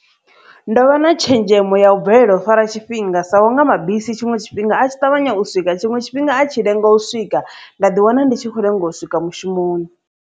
Ndo vha na tshenzhemo ya u bvelela u fara tshifhinga sa unga mabisi tshiṅwe tshifhinga a tshi ṱavhanya u swika, tshiṅwe tshifhinga a tshi lenga u swika nda ḓi wana ndi tshi khou lenga u swika mushumoni.